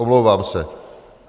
Omlouvám se.